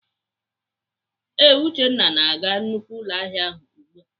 Ee, Uchenna na-aga nnukwu ụlọahịa ahụ ugbu a.